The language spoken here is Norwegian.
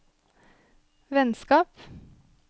vennskap